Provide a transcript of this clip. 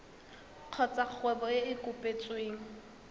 kgotsa kgwebo e e kopetsweng